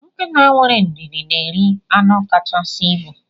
Nkịta wéré ndidi na eri anu kachasị ịbụ.